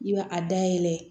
I b'a a dayɛlɛ